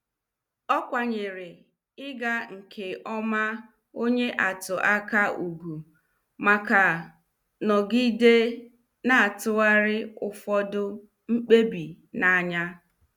Ọ kwanyere ịga nke ọma onye atụ aka ugwu, maka nọgide na- atụgharị ụfọdụ mkpebi n' anya.